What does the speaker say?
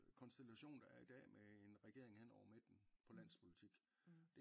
Konstellation der er i dag med en regering hen over midten på landspolitik